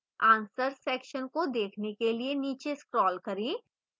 answers section को देखने के लिए नीचे scroll करें